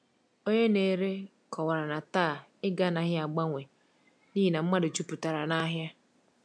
Onye na-ere kọwara na taa ego anaghị agbanwe n’ihi na mmadụ jupụtara n’ahịa.